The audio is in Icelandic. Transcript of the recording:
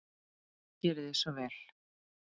Gerið svo vel.